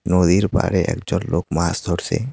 নদীর পাড়ে একজন লোক মাছ ধরছে।